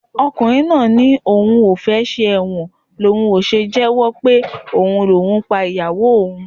Ọkùnrin náà ni òun ò fẹ́ ṣẹ̀wọ̀n ni òun ò ṣe jẹ́wọ́ pé òun ni òun pa ìyàwó òun